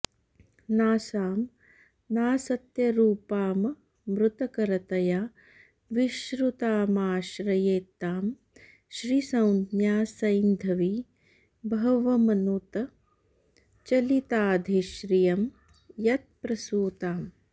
नासां नासत्यरूपाममृतकरतया विश्रुतामाश्रयेत्तां श्रीसंज्ञा सैन्धवी बह्वमनुत चलिताधिश्रियं यत्प्रसूताम्